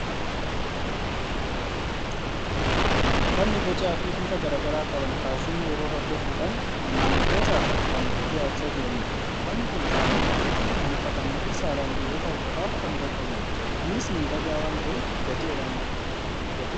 uffanni bocaa fi bifa garaa garaa qaban faashinii yeroo hordofuudhaan maamiltootaaf kan dhiyaachaa jiranidha. Uffanni kun qaamaan olitti kan uffatamuu fi saalaan dhiirota qofaaf kan gorfamudha. Innis miidhagaa waan ta'eef, gatii qaala'aa qaba.